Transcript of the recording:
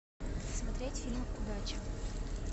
смотреть фильм удача